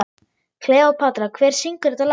Kleópatra, hver syngur þetta lag?